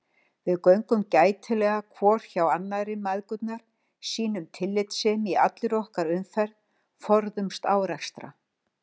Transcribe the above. Við göngum gætilega hvor hjá annarri mæðgurnar, sýnum tillitssemi í allri okkar umferð, forðumst árekstra.